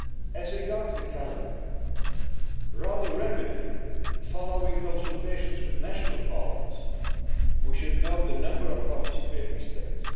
As regards the calendar, rather rapidly, following consultations with national parliaments, we should know the number of participating states.